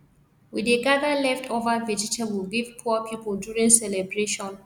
we dey gather leftover vegetable give poor people during celebration